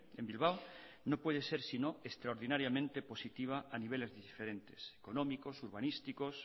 en bilbao no puede ser sino extraordinariamente positiva a niveles diferentes económicos urbanísticos